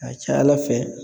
Ka ca Ala fɛ